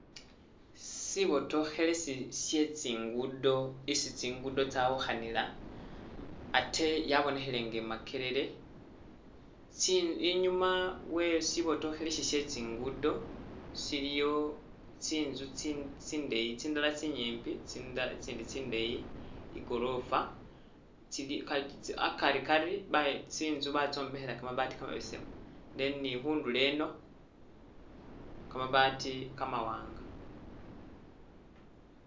Sibotokhelesi shye tsi'ngudo isi tsi'ngudo tsyawukhanila ate yabonekhele nga e'Makerere, tsi inyuma we sibotokhelesi sye tsi'ngudo siliyo tsinzu tsi tsindeyi tsindala tsinyimbi tsinda itsindi tsindeyi igorofa tsili kha akari Kari bayo tsinzu batsombekhela kamabaati kamabesemu then ni khundulo eno kamabaati kamawanga